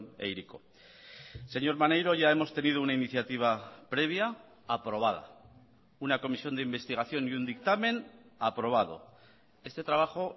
e hiriko señor maneiro ya hemos tenido una iniciativa previa aprobada una comisión de investigación y un dictamen aprobado este trabajo